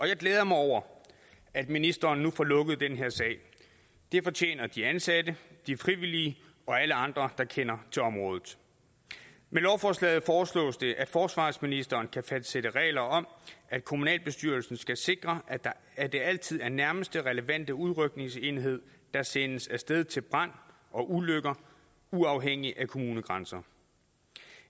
jeg glæder mig over at ministeren nu får lukket den her sag det fortjener de ansatte de frivillige og alle andre der kender til området med lovforslaget foreslås det forsvarsministeren kan fastsætte regler om at kommunalbestyrelsen skal sikre at det altid er nærmeste relevante udrykningsenhed der sendes af sted til brand og ulykker uafhængig af kommunegrænser